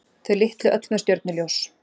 Þau litlu öll með stjörnuljós.